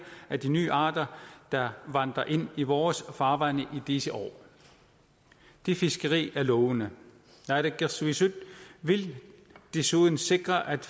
af de nye arter der vandrer ind i vores farvande i disse år det fiskeri er lovende naalakkersuisut vil desuden sikre at